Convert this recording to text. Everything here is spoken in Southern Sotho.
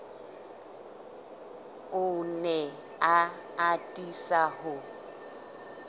o ne a atisa ho